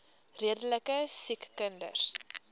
redelike siek kinders